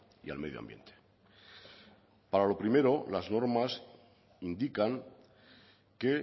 y al medio ambiente para lo primero las normas indican que